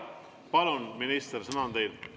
Palun, minister, sõna on teil!